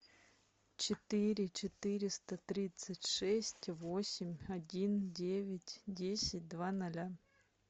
четыре четыреста тридцать шесть восемь один девять десять два ноля